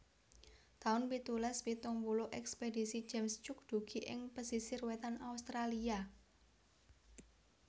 taun pitulas pitung puluh Ekspedisi James Cook dugi ing pesisir wétan Australia